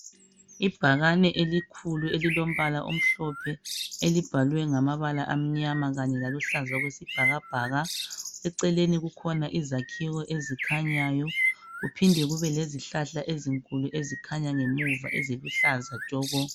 Ibhakane elikhulu elilombala omhlophe elibhalwe ngamabala amnyama kanye laluhlaza okwesibhakabhaka. Eceleni kukhona izakhiwo ezikhanyayo kuphinde kube lezihlahla ezinkulu ezikhanya ngemuva eziluhlaza tshoko.